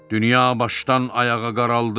Dünya başdan ayağa qaraldı.